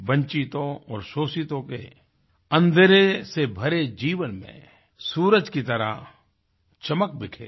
वंचितों और शोषितों के अंधेरे से भरे जीवन में सूरज की तरह चमक बिखेरी